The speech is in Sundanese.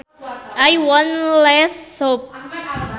I want less soup